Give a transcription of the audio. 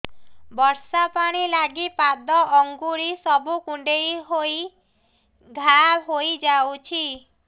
ବର୍ଷା ପାଣି ଲାଗି ପାଦ ଅଙ୍ଗୁଳି ସବୁ କୁଣ୍ଡେଇ ହେଇ ଘା ହୋଇଯାଉଛି